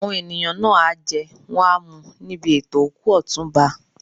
Àwọn ènìyàn náà á jẹ́ wọ́n á mu níbi ètò òkú Ọ̀túnba.